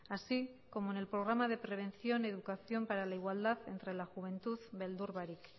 así como en el programa de prevención y educación para la igualdad entre la juventud beldurbarik